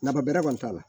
Naba bɛrɛ kɔni t'a la